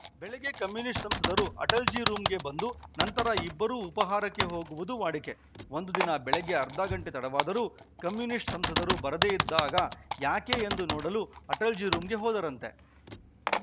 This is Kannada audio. ಬೆಳಿಗ್ಗೆ ಕಮ್ಯುನಿಸ್ಟ್‌ ಸಂಸದರು ಅಟಲಜಿ ರೂಮಗೆ ಬಂದು ನಂತರ ಇಬ್ಬರೂ ಉಪಾಹಾರಕ್ಕೆ ಹೋಗುವುದು ವಾಡಿಕೆ ಒಂದು ದಿನ ಬೆಳಿಗ್ಗೆ ಅರ್ಧ ಗಂಟೆ ತಡವಾದರೂ ಕಮ್ಯುನಿಸ್ಟ್‌ ಸಂಸದರು ಬರದೇ ಇದ್ದಾಗ ಯಾಕೆ ಎಂದು ನೋಡಲು ಅಟಲಜಿ ರೂಮಗೆ ಹೋದರಂತೆ